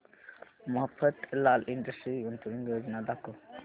Mafatlal Industries गुंतवणूक योजना दाखव